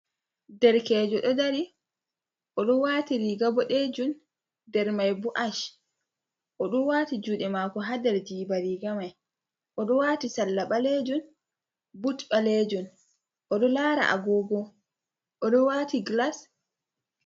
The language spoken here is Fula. Derkejo ɗo dari oɗo wati riga boɗejum, nder mai bo ash. Oɗo wati juɗe mako ha nder jiba riga mai, oɗo wati salla ɓalejun, but ɓalejun, oɗo lara agogo oɗo wati glas.